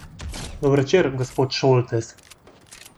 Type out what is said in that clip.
Dober večer, gospod Šoltes.